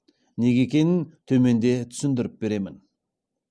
неге екенін төменде түсіндіріп беремін